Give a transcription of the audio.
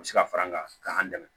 U bɛ se ka fara an kan an dɛmɛ